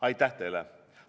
Aitäh teile!